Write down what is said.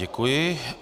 Děkuji.